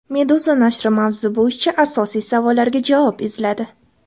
Meduza nashri mavzu bo‘yicha asosiy savollarga javob izladi .